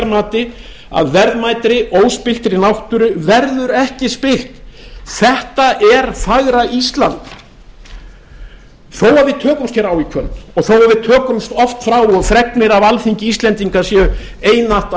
mati að verðmætri óspilltri náttúru verður ekki spillt þetta er fagra ísland þó að við tökumst hér á í kvöld og við tökumst oft á og fregnir af alþingi íslendinga séu einatt